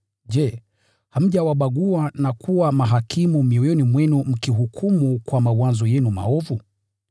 je, hamjawabagua na kuwa mahakimu mioyoni mwenu mkihukumu kwa mawazo yenu maovu?